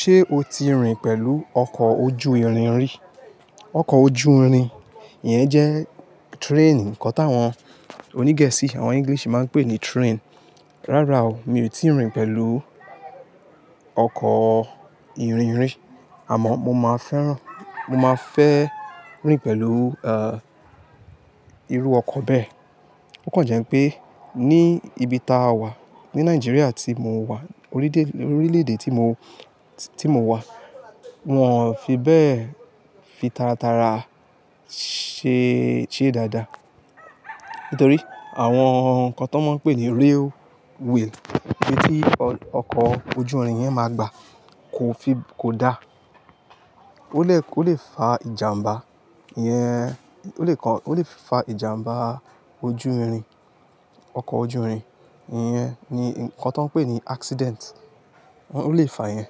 Ṣé o ti rìn pẹ̀lú ọkọ̀ ojú irin rí? Ọkọ̀ ojú irin yẹn jẹ́ train. Ǹkan táwọn oní Gẹ̀ẹ́sì, àwọn English máa ń pè ní train. Rárá o, mi ò tíì rìn pẹ̀lú ọkọ̀ irin rí àmọ́ mo máa fẹ́ rìn mo mafe rin pẹ̀lú, eh, irú ọkọ̀ bẹ́ẹ̀. Ó kàn jẹ́ pé ní ibi táa wà, ní Nigeria tí mo wà, orílè-èdè tí mo wà, wọn ò fi bẹ́ẹ̀ fi tara tara ṣe, ṣe dáadáa. Nítorí àwọn ǹkan tó máa ń pè ní railway ibi tí ọkọ̀ ojú irin yẹn máa gba, kò dá. Ó lè fa ìjàmbá yẹn, ó lè fa ìjàmbá ojú irin, ọkọ̀ ojú irin yẹn, ǹkan tó ń pè ní accident, ó lè fa yẹn.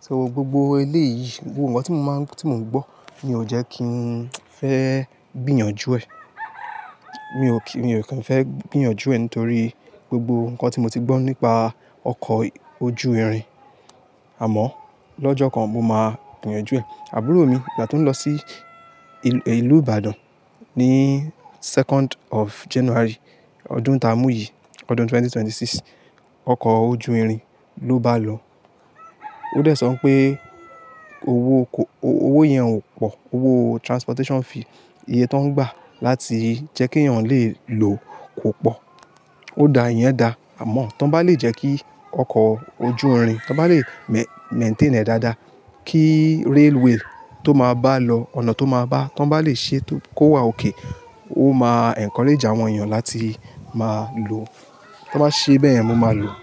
So gbogbo eléyìí, gbogbo nkan tí mò ń gbọ́, ni ò jẹ́ kí ń fẹ́ gbìyànjú ẹ̀. Mi ò kań fẹ́ gbìyànjú ẹ̀, nítorí gbogbo ǹkan tí mo ti gbọ́ nípa ọkọ̀ ojú irin. Àmọ́ lọ́jọ́ kan mo máa gbìyànjú ẹ̀. Àburo mi, ìgbà tí ó ń lọ sí ìlú Ibadan ní second of January ọdún tá a mú yìí, ọdún 2026, ọkọ̀ ojú irin ló bá lọ. Ó dẹ̀ sọ pé owó yẹn ò pọ̀, owó transportation fee ìyè tó ń gbà láti jẹ́ kí èèyàn lè lò kò pọ̀. O da, iyen da. Amo, ta n ba le je k ioko ojurin, ta n bale maintain e Daada, ki railway, to maa balo, ona to ma ba, ti won balese, ko wa okay, o ma encourage awon eeyan lati ma lo. Tí wọ́n bá ṣe bẹ́ yẹn, mo máa lò.